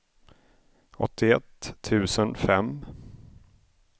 åttioett tusen fem